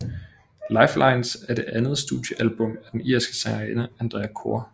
Lifelines er det andet studiealbum af den irske sangerinde Andrea Corr